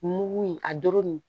Mugu in a doro nin